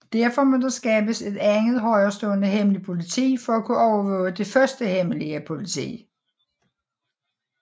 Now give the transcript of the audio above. Derfor må der skabes et andet højerestående hemmeligt politi for at kunne overvåge det første hemmelige politi